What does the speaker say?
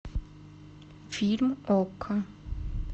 фильм окко